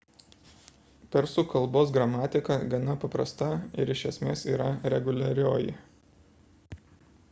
persų kalbos gramatika gana paprasta ir iš esmės yra reguliarioji